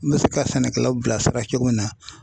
N bɛ se ka sɛnɛkɛlaw bilasira cogo min na